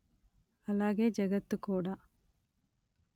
అలాగే జగత్తు కూడా